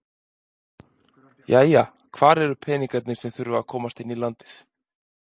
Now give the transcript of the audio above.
Jæja, hvar eru peningarnir sem að þurfa að komast inn í landið?